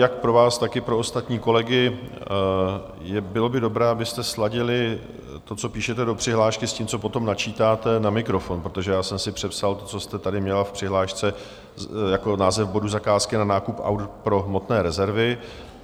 Jak pro vás, tak i pro ostatní kolegy: Bylo by dobré, abyste sladili to, co píšete do přihlášky, s tím, co potom načítáte na mikrofon, protože já jsem si přepsal to, co jste tady měla v přihlášce jako název bodu Zakázky na nákup aut pro hmotné rezervy.